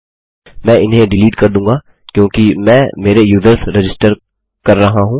मैं इन्हें डिलीट कर दूँगा क्योंकि मैं मेरे यूज़र्स रजिस्टर कर रहा हूँ